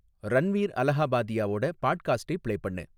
ரன்வீர் அலஹபாதியாவோட பாட்காஸ்டைப் பிளே பண்ணு